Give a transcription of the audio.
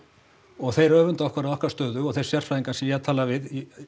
og þeir öfunda okkur af okkar stöðu og þeir sérfræðingar sem ég hef talað við